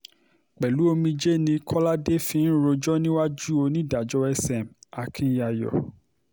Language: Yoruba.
pẹ̀lú omijé lójú ni kọ́ládé fi ń rojọ́ níwájú onídàájọ́ sm akinyayo